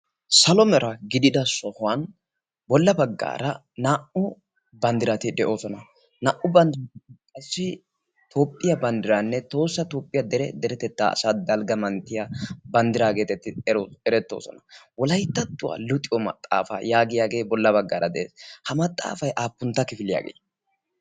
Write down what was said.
salomera gidida shohuwan bolla baggaara naa''u banddirati de'oosona naa''u banddirassi toophphiyaa banddiraanne toossa toophphiyaa dere deretettaa asa dalgga manttiya banddiraageetetti erettoosona wolayttattuwaa luxiyo maxaafaa yaagiyaagee bolla baggaara de'e ha maxaafay aappuntta kifiliyaagee